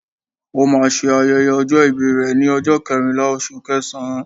Ó máa n se ayẹyẹ ọjọ́ ìbí rẹ̀ ni ọjọ́ kẹrìnlá oṣù kẹẹẹ̀sán